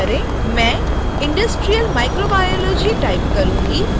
मैं industrial microbiology type करुँगी